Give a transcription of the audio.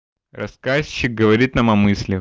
рассказчик говорит нам о мысли